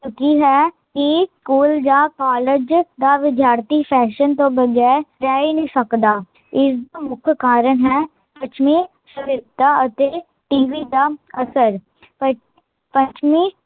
ਹੋ ਚੁੱਕੀ ਹੈ ਕੀ ਸਕੂਲ ਯਾ ਕਾਲਜ ਦਾ ਵਿਦਿਆਰਥੀ ਫੈਸ਼ਨ ਤੋਂ ਬਗੈਰ ਰਹਿ ਹੀਂ ਨਹੀਂ ਸਕਦਾ, ਇਸ ਦਾ ਮੁੱਖ ਕਾਰਣ ਹੈ, ਪੱਛਮੀ ਸਹਿਰਤਾ ਅਤੇ tv ਦਾ ਅਸਰ ਪੱਛਮੀ